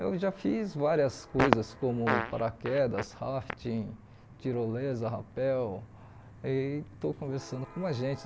Eu já fiz várias coisas como paraquedas, rafting, tirolesa, rapel, e estou conversando com uma gente.